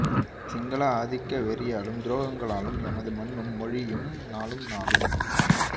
சிங்கள ஆதிக்க வெறியாலும் துரோகங்களாலும் எமது மண்ணும் மொழியும் நாளும் நாளும்